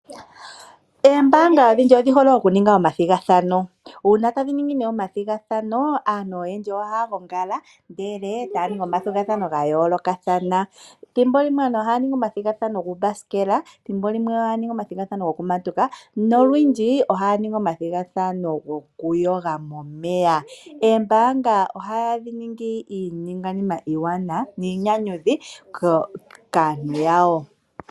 Eembanga ondhindji odhi hole okuninga omathigathano, uuna tadhi ningi nee omathigathano aantu oyendji ohaya hongala ndele taya ningi omathigathano ga yoolokathana. Thimbo limwe aantu ohaya ningi omathigathano uuthanguthangu, thimbi limwe ohaya ningi omathigathano gokumatuka nolwindji ohaya ningi omathigathano gokuyoga momeya. Eembanga ohadhi iiningwanina iiwanawa niinyanyudhi kaantu yawo.